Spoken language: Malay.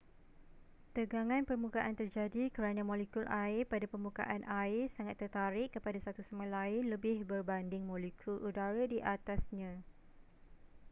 tegangan permukaan terjadi kerana molekul air pada permukaan air sangat tertarik kepada satu sama lain lebih berbanding molekul udara di atasnya